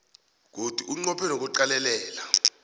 godu unqophe nokuqalelela